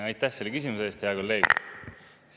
Aitäh selle küsimuse eest, hea kolleeg!